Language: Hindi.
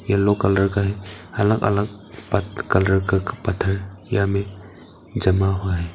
येलो कलर का है अलग अलग कलर का पत्थर यहां में जमा हुआ है।